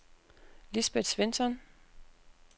Lisbet Svensson